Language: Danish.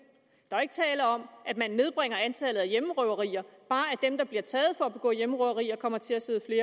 der er ikke tale om at man nedbringer antallet af hjemmerøverier bare at dem der bliver taget for at begå hjemmerøverier kommer til at sidde